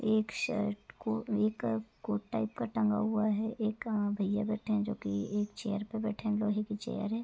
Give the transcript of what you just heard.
एक शर्ट को मेकप कोट टाइप का टांगा हुआ है। एक आ भैया बैठे है जोकि एक चेयर पर बैठे है लोहे की चेयर है।